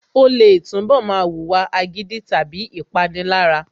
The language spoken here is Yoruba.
Ó lè túnbọ̀ máa wùwà agídí / Ìpanilára